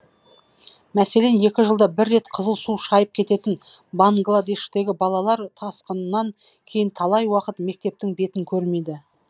мәселен екі жылда бір рет қызыл су шайып кететін бангладештегі балалар тасқыннан кейін талай уақыт мектептің бетін көрмейді